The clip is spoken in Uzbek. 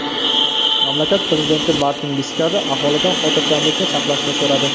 Mamlakat prezidenti Martin Viskarra aholidan xotirjamlikni saqlashni so‘radi.